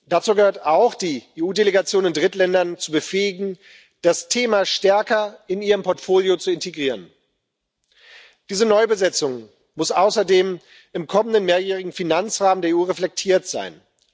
Dazu gehört auch, die EU Delegationen in Drittländern zu befähigen, das Thema stärker in ihr Portfolio zu integrieren. Diese Neubesetzung muss außerdem im kommenden mehrjährigen Finanzrahmen der EU reflektiert sein.